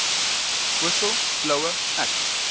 whistle blower act